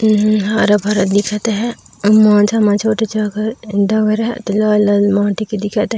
ते हे हरा भरा दिखत हे अऊ मोनझा म छोटे जगह धौर हे एत लाल-लाल माटी के दिखत हे।